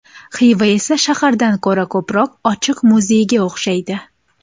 Xiva esa shahardan ko‘ra ko‘proq ochiq muzeyga o‘xshaydi.